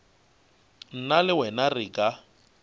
nna le wena re ka